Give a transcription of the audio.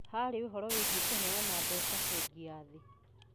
Harĩ ũhoro wĩgie kũheana mbeca, Bengi ya Thĩ,